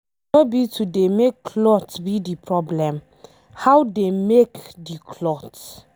No be to dey make cloth be the problem, how dey make the cloth?